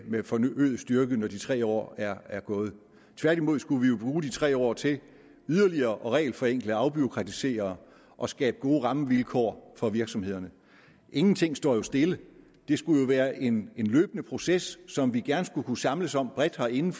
med forøget styrke når de tre år er er gået tværtimod skulle vi bruge de tre år til yderligere at regelforenkle og afbureaukratisere og skabe gode rammevilkår for virksomhederne ingenting står jo stille det skulle jo være en løbende proces som vi gerne skulle kunne samles om bredt herinde